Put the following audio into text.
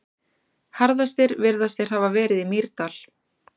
Harðastir virðast þeir hafa verið í Mýrdal.